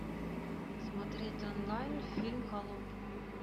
смотреть онлайн фильм холоп